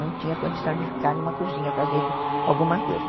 Não tinha condição de ficar numa cozinha fazendo alguma coisa.